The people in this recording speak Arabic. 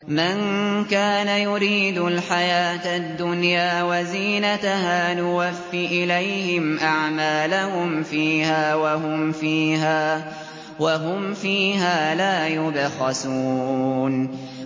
مَن كَانَ يُرِيدُ الْحَيَاةَ الدُّنْيَا وَزِينَتَهَا نُوَفِّ إِلَيْهِمْ أَعْمَالَهُمْ فِيهَا وَهُمْ فِيهَا لَا يُبْخَسُونَ